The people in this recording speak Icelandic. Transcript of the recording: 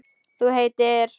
Þú heitir?